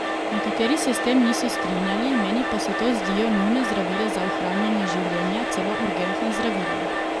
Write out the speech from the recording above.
Nekateri se s tem niso strinjali, meni pa se to zdijo nujna zdravila za ohranjanje življenja, celo urgentna zdravila.